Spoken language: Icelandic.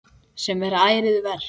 Sem er ærið verk.